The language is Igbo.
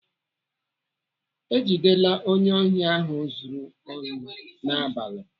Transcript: Ejidela onye ohi ahụ zuru ohi n'abalị.